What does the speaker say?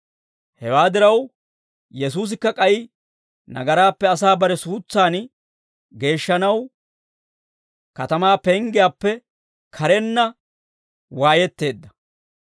Hewaa diraw, Yesuusikka k'ay nagaraappe asaa bare suutsan geeshshanaw, katamaa penggiyaappe karenna waayetteedda.